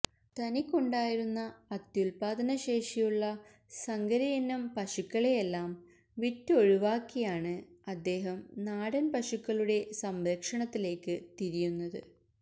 തനിക്കുണ്ടായിരുന്ന അത്യുല്പാദനശേഷിയുള്ള സങ്കരയിനം പശുക്കളെയെല്ലാം വിറ്റൊഴിവാക്കിയാണ് അദ്ദേഹം നാടന് പശുക്കളുടെ സംരക്ഷണത്തിലേക്ക് തിരിയുന്നത്